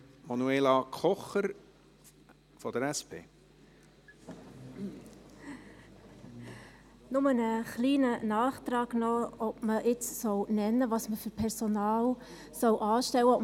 Nur ein kleiner Nachtrag dazu, ob man jetzt im Gesetz nennen soll, was für Personal man anstellen soll.